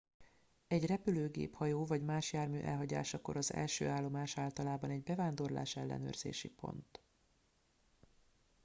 egy repülőgép hajó vagy más jármű elhagyásakor az első állomás általában egy bevándorlás ellenőrzési pont